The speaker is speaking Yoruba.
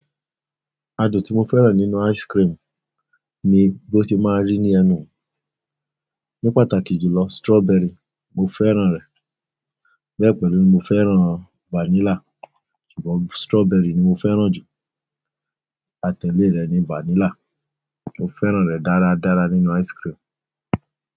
Adùn tí mo fẹ́ràn nínú ice cream ni bí ó ti máa rí ní ẹnu mi. Ní pàtàkì jù lọ, strawberry mo fẹ́ràn rẹ̀. Bẹ̀ pélu mo fẹ́ràn vanilla, ṣùgbọ́n strawberry ni mo fẹ́ràn ju atẹlé rẹ̀ ni vanilla, mo fẹ́ràn rẹ̀ dáradára nínú ice cream.